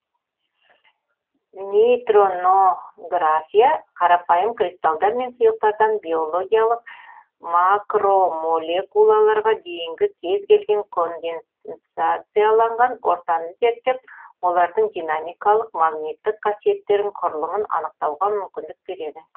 нейтронография қарапайым кристалдар мен сұйықтардан биологиялық макромолекулаларға дейінгі кез келген конденсацияланған ортаны зерттеп олардың динамикалық магниттік қасиеттерін құрылымын анықтауға мүмкіндік береді